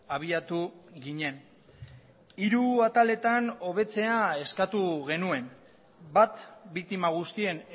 abiatu ginen hiru ataletan hobetzea eskatu genuen bat biktima guztien